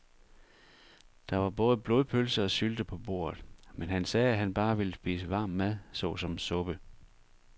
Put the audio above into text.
Der var både blodpølse og sylte på bordet, men han sagde, at han bare ville spise varm mad såsom suppe.